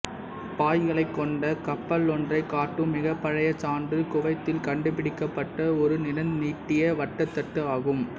பாய்களைக் கொண்ட கப்பலொன்றைக் காட்டும் மிகப்பழைய சான்று குவைத்தில் கண்டுபிடிக்கப்பட்ட ஒரு நிறந்தீட்டிய வட்டத்தட்டு ஆகும்